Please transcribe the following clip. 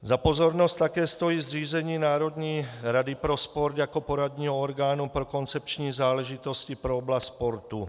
Za pozornost také stojí zřízení Národní rady pro sport jako poradního orgánu pro koncepční záležitosti pro oblast sportu.